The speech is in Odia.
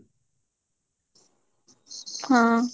ହଁ